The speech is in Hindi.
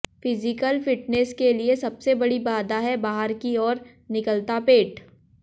फिजीकल फिटनेस के लिए सबसे बड़ी बाधा है बाहर की ओर निकलता पेट